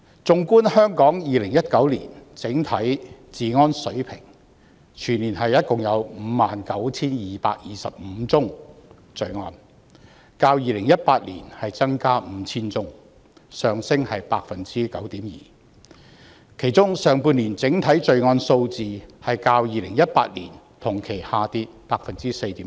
縱觀香港2019年整體治安水平，全年共有 59,225 宗罪案，較2018年增加 5,000 宗，上升 9.2%， 其中上半年整體罪案數字較2018年同期下跌 4.7%。